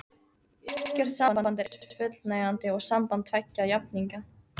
Ekkert samband er eins fullnægjandi og samband tveggja jafningja.